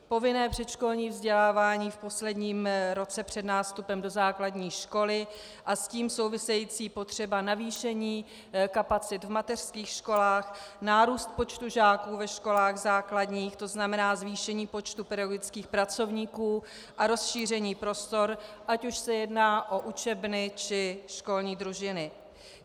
Povinné předškolní vzdělávání v posledním roce před nástupem do základní školy a s tím související potřeba navýšení kapacit v mateřských školách, nárůst počtu žáků ve školách základních, to znamená zvýšení počtu pedagogických pracovníků a rozšíření prostor, ať už se jedná o učebny, či školní družiny.